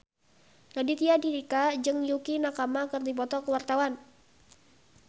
Raditya Dika jeung Yukie Nakama keur dipoto ku wartawan